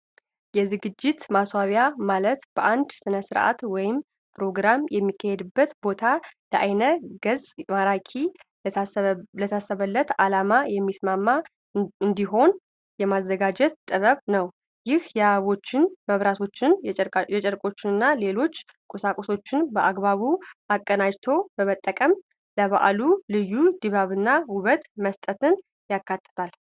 የዝግጅት ማስዋብ ማለት አንድ ሥነ-ሥርዓት ወይም ፕሮግራም የሚካሄድበትን ቦታ ለዓይነ-ገጽ ማራኪና ለታሰበለት ዓላማ የሚስማማ እንዲሆን የማዘጋጀት ጥበብ ነው። ይህም የአበቦችን፣ የመብራቶችን፣ የጨርቆችንና ሌሎች ቁሳቁሶችን በአግባቡ አቀናጅቶ በመጠቀም ለበዓሉ ልዩ ድባብና ውበት መስጠትን ያካትታል።